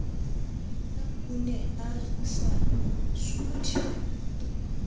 o ne a sa suthe